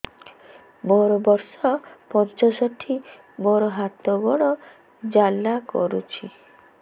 ମୋର ବର୍ଷ ପଞ୍ଚଷଠି ମୋର ହାତ ଗୋଡ଼ ଜାଲା କରୁଛି